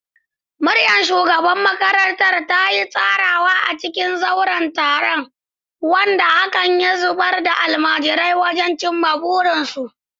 Muryar shugaban makarantar ta yi ta ratsawa a cikin zauren taron, wanda hakan ya zaburar da almajirai wajen cimma burinsu.